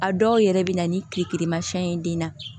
A dɔw yɛrɛ bɛ na ni kile kelen ma fɛn ye den na